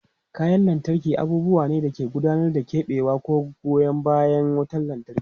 Kayan lantarki abubuwa ne da ke gudanarwa, keɓewa, ko goyan bayan wutar lantarki.